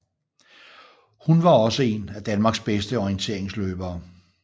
Hun var også en af Danmarks bedste orienterigsløbere